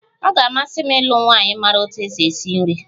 Ọ ga-amasị m ịlụ nwanyị maara otú e si esi nri